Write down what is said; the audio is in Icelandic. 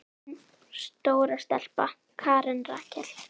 Þín stóra stelpa, Karen Rakel.